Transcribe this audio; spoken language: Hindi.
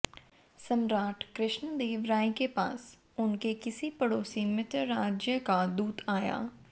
सम्राट कृष्णदेव राय के पास उनके किसी पड़ोसी मित्र राज्य का दूत आया